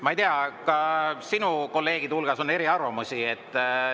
Ma ei tea, ka sinu kolleegide hulgas on eriarvamusi.